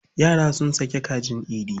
Yara sun sake kajin Idi.